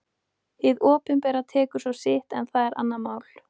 Hið opinbera tekur svo sitt en það er annað mál.